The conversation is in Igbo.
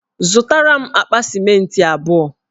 Zụtara m akpa sịmentị abụọ.